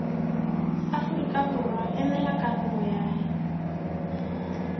aforika borwa emela karolo yay